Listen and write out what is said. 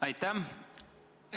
Aitäh!